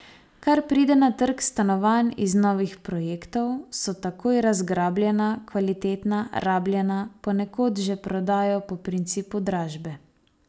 Kar pride na trg stanovanj iz novih projektov, so takoj razgrabljena, kvalitetna rabljena ponekod že prodajo po principu dražbe.